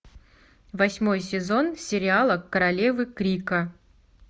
восьмой сезон сериала королевы крика